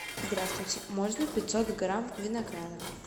здравствуйте можно пятьсот грамм винограда